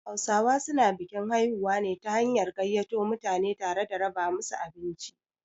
Hausawa su na bikin haihuwa ne ta hanyar gaiyato mutane tare da raba musu abinci